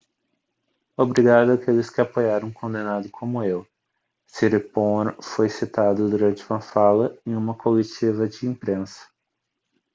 obrigado àqueles que apoiaram um condenado como eu siriporn foi citado durante uma fala em uma coletiva de imprensa